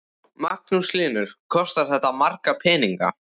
Magnús Hlynur: Kostar þetta marga peninga?